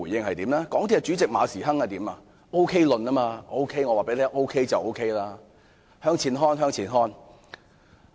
港鐵公司主席馬時亨提出 "OK 論"，只要他說 OK 便 OK， 他又叫人向前看。